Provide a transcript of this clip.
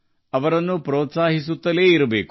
ಅವರನ್ನು ಪ್ರೋತ್ಸಾಹಿಸುತ್ತಲೇ ಇರುತ್ತೇವೆ